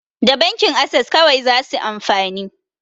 Da bankin ases kawai zasu amfani